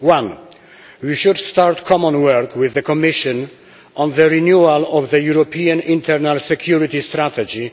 One we should start common work with the Commission on the renewal of the European internal security strategy.